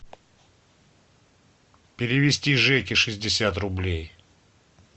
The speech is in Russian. перевести жеке шестьдесят рублей